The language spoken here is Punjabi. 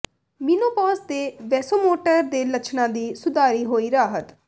ਮੀਨੋਪੌਜ਼ ਦੇ ਵੈਸੋਮੋਟਰ ਦੇ ਲੱਛਣਾਂ ਦੀ ਸੁਧਾਰੀ ਹੋਈ ਰਾਹਤ